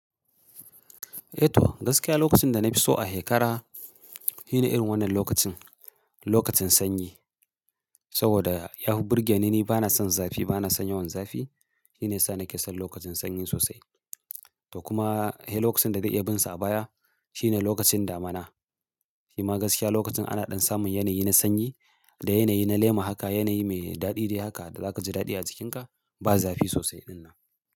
Eh to gaskiya lokacin da na fi so a shekara shine irin wannan lokacin, lokacin sanyi. Saboda yafi burge ni, ni bana son zafi, bana son yawan zafi. Shine yasa nake son lokacin sanyi sosai. To kuma lokacin da zai iyabinsa a baya shine lokacin damina. Shima gaskiya lokacin ana ɗan samun yanayi na sanyi da yanayi na lema haka, yanayi mai daɗi dai haka da zaka ji daɗi a jikinka ba zafi sosai ɗinnan.